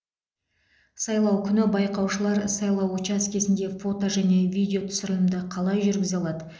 сайлау күні байқаушылар сайлау учаскесінде фото және видеотүсірілімді қалай жүргізе алады